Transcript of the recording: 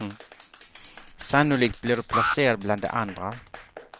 Sannolikt blir du placerad bland de andra.